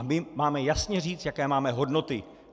A my máme jasně říct, jaké máme hodnoty.